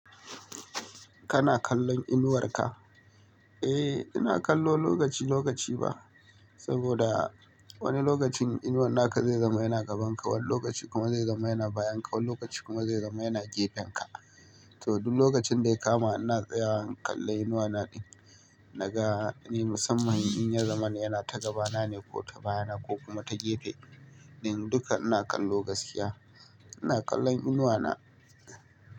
Kana kallon inuwar ka? Eh, ina kallo lokaci lokaci ba, saboda wani lokacin inuwar naka zai zama yana gabanka, wani lokaci kuma zai zama yana bayanka, wani lokaci kuma zai zama yana gefenka. To duk lokacin da ya kama ina tsayawa in kalla inuwa na, naga me musamman in ya zama yana ta gabana ne ko ta baya na ko kuma ta gefe din duka ina kallo gaskiya. Ina kallon inuwa na.